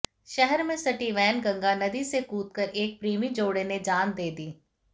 शहर से सटी वैनगंगा नदी में कूदकर एक प्रेमी जोड़े ने जान दे दी